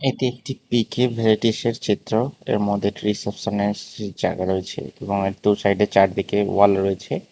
এটি একটি পিকে চিত্র এর মধ্যে একটি রিসেপশনের সে জায়গা রয়েছে এবং এর দু সাইডে চারদিকে ওয়াল রয়েছে।